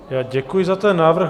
Já děkuji za ten návrh.